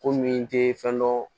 Ko min tɛ fɛn dɔ